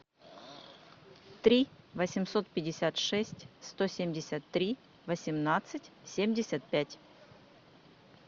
три восемьсот пятьдесят шесть сто семьдесят три восемнадцать семьдесят пять